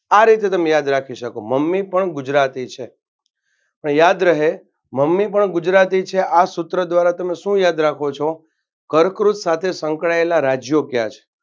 આ રીતે તમે યાદ રાખી શકો મમ્મી પણ ગુજરાતી છે અને યાદ રહે મમ્મી પણ ગુજરાતી છે આ સૂત્ર ધ્વારા તમે શું યાદ રાખો છો કર્કવૃત સાથે સંકળાયેલા રાજ્યો કયા છે.